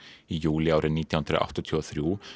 í júlí árið nítján hundruð áttatíu og þrjú